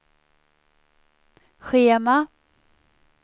schema